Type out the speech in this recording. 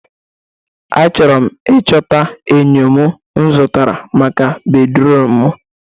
Achọrọ m ịchọta enyo mụ zụtara maka bedruum mụ